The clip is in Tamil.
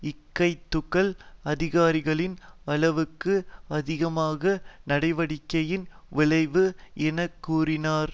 இக்கைதுகள் அதிகாரிகளின் அளவுக்கு அதிகமான நடவடிக்கையின் விளைவு என கூறினர்